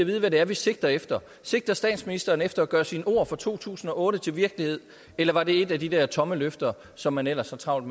vide hvad det er vi sigter efter sigter statsministeren efter at gøre sine ord fra to tusind og otte til virkelighed eller var det et af de der tomme løfter som man ellers har travlt